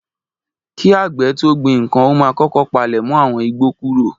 Kí àgbè tó gbin ǹkan ó máa kókó palẹ̀mọ́ àwọn igbó kúrò